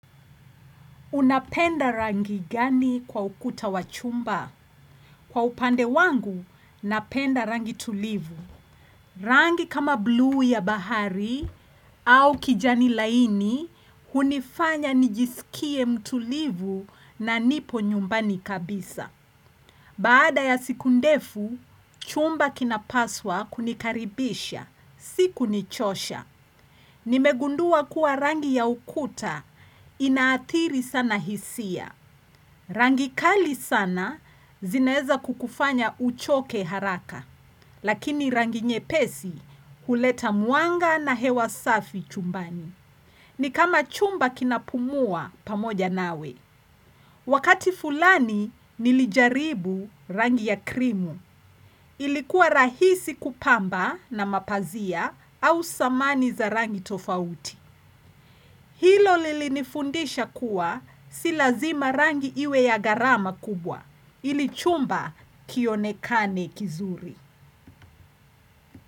Unapenda rangi gani kwa ukuta wa chumba? Kwa upande wangu, napenda rangi tulivu. Rangi kama blu ya bahari au kijani laini, hunifanya nijisikie mtulivu na nipo nyumbani kabisa. Baada ya sikundefu, chumba kina paswa kunikaribisha, sikunichosha. Nimegundua kuwa rangi ya ukuta ina atiri sana hisia. Rangi kali sana zineza kukufanya uchoke haraka. Lakini rangi nyepesi huleta muanga na hewa safi chumbani. Ni kama chumba kinapumua pamoja nawe. Wakati fulani nilijaribu rangi ya krimu. Ilikuwa rahisi kupamba na mapazia au samani za rangi tofauti. Hilo lilinifundisha kuwa silazima rangi iwe ya garama kubwa. Ilichumba kionekane kizuri.